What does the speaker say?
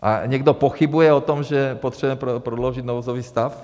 A někdo pochybuje o tom, že potřebujeme prodloužit nouzový stav?